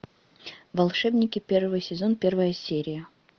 волшебники первый сезон первая серия